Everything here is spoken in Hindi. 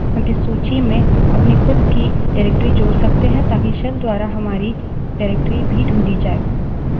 हम इस सूची में अपनी खुद की निर्देशिका directory जोड़ सकते हैं ताकि shell द्वारा हमारी निर्देशिका directory भी ढूँढी जाय